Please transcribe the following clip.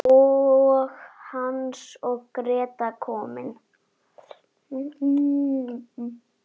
Og Hans og Gréta komin!